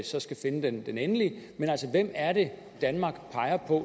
så skal finde den endelige men altså hvem er det danmark peger på